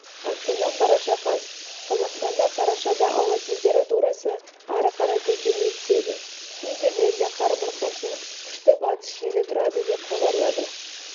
астана қараша қаз қазақстанда қарашада ауа температурасы ары қарай көтеріле түседі кей жерлерде қар бұрқасын күшті батыс желі тұрады деп хабарлады